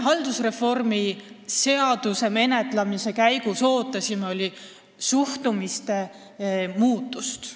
Haldusreformi seaduse valguses me ootasime eelkõige suhtumise muutust.